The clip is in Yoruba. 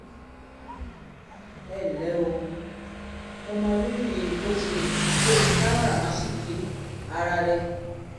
ẹ ǹlẹ́ o! mo mọrírì bó o ṣe bó o ṣe káràmáásìkí ara rẹ